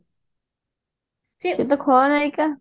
ସେ ତ ଖଳନାୟିକା